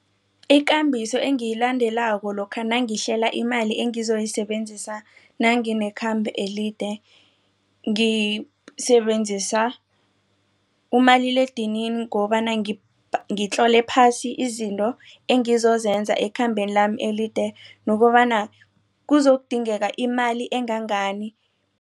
Ikambiso engiyilandelako lokha nangihlela imali engizoyisebenzisa nanginekhambo elide ngisebenzisa umaliledinini ukobana ngitlole phasi izinto engizozenza ekhambeni lami elide nokobana kuzokudingeka imali engangani.